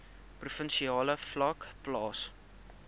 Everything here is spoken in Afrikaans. provinsiale vlak plaas